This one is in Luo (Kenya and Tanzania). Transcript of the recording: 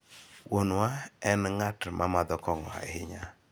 Wuonwa en ng'at ma madho kong'o ahinya.